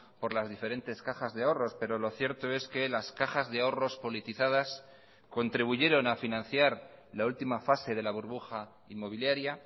por las diferentes cajas de ahorros pero lo cierto es que las cajas de ahorros politizadas contribuyeron a financiar la última fase de la burbuja inmobiliaria